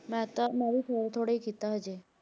ਮੈਂ ਤਾਂ, ਮੈਂ ਵੀ ਥੋੜ੍ਹਾ ਥੋੜ੍ਹਾ ਹੀ ਕੀਤਾ ਹਜੇ।